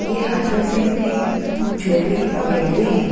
ये हाथों से अपनी झोपड़ी पकड़े हुए है।